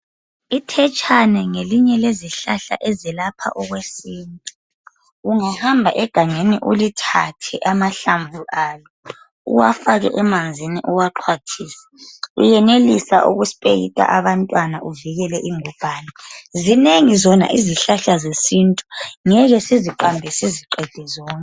Ithetshane ngelinye lezihlahla ezelapha okwesintu. Ungahamba egangeni, ulithathe, amahlamvu alo. Uwafake emanzini, uwaxhwathise. Uyenelisa ukuspeyida abantwana. Uvikele ingubhane. Zinengi zona izihlahla zesintu. Singeke siziqambe, siziqede zonke.